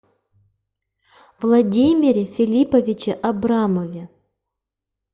владимире филипповиче абрамове